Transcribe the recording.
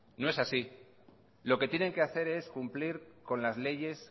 no es así lo que tienen que hacer es cumplir con las leyes